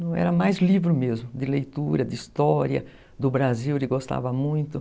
Não era mais livro mesmo, de leitura, de história, do Brasil, ele gostava muito.